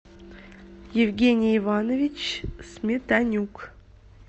евгений иванович сметанюк